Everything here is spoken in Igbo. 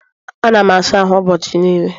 Ana m asa ahụ ụbọchị niile